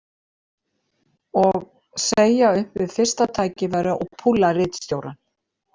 Og segja upp við fyrsta tækifæri og púlla ritstjórann.